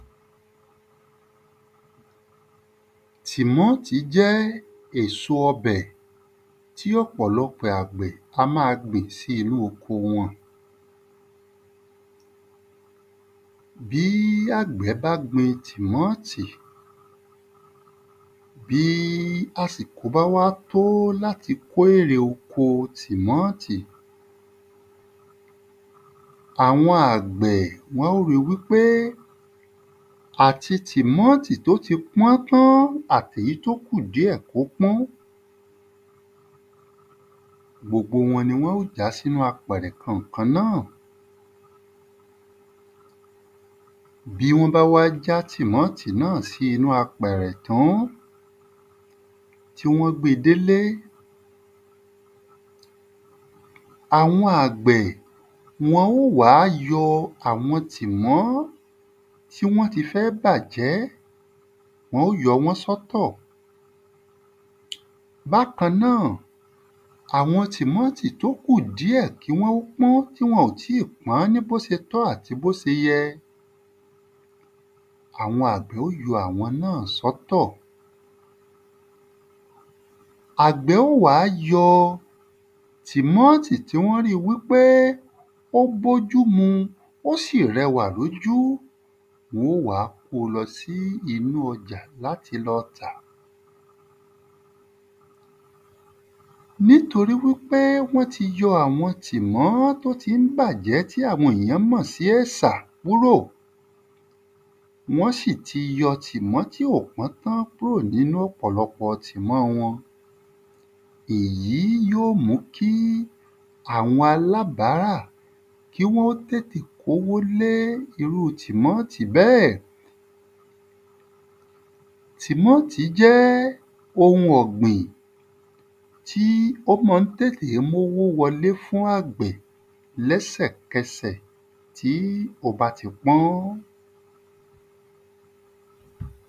Timọ́tí jẹ́ èso ọbẹ̀ tí ọ̀pọ̀lọpọ̀ àgbẹ̀ a má a gbìn s'ínú oko wọn. Bí àgbẹ̀ bá wá gbin tímọ́ọ̀tì, bí àsìkò bá wá t'ó l'ati ko ere oko tímọ́ọ̀tì, àwọn àgbẹ̀ wọ́n ó ri wí pé àti tímọ́ọ̀tì t'ó ti pọ́n tán àti èyí t’ó kù díẹ̀ k’ó pọ́n gbogbo wọn ni wọ́n ó já s'ínú apẹ̀rẹ̀ kan ǹkan kan náà. Bí wón bá wá já tímọ́ọ̀tì náà sí inú apẹ̀rẹ̀ tán, Bí wón bá wá já tímọ́ọ̀tì náà sí inú apẹ̀rẹ̀ tán, tí wọ́n gbé e dé 'le, àwọn àgbẹ̀ wọ́n ó wá yọ àwọn tímọ́ tí wọ́n ti fẹ́ bàjẹ́. Wọ́n ó yọ wọ́n sọ́ tọ̀. Bákan náà, Bákan náà, àwọn tímọ́ọ̀tì t'ó ku díẹ̀ kí wọ́n ó pọ́n tí wọ́n ò tíì pọ́n ní b'ó ti tọ́ àti b'ó se yẹ àwọn àgbẹ̀ ó yọ àwọ́n náà sọ́ tọ̀. Àgbẹ̀ ó wá yọ tímọ́ọ̀tì tí wọ́n ri wí pé ó b’ójú mu, ó sì r'ẹwà l'ójú, wọ́n ó wá ko lọ sí inú ọjà l'áti lọ tàá nítorí wí pé wọ́n ti yọ àwọn tímọ́ t'ó tí ń bàjẹ́ tí àwọn èyàn mọ̀ sí èsà kúrò, wón sì ti yọ tímọ́ tí ò tí pọ́n tán kúrò n'ínú ọ̀pọlọpọ̀ tímọ́ wọn. Èyí yó mú kí àwon alábárà kí wọ́n tètè k’ówó lé irú tímọ́ọ̀tì bẹ́ẹ̀. Tímọ́ọ̀tì jẹ́ ohun ọ̀gbìn tí ó mọ ń tètè m'ówó wọ 'le fún àgbẹ̀ lẹ́sẹ̀kẹsẹ̀ tí ó ba ti pọ́n.